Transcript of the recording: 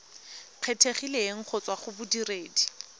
kgethegileng go tswa go bodiredi